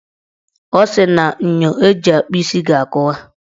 Ọ sịrị na enyo o ji akpụ isi ga-akụwa.